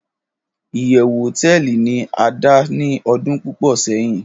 iyewu hoteeli ni ada ni odun pupo seyin